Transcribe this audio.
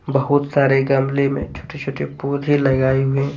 बहुत सारे गमले में छोटे-छोटे पौधे लगाए हुए --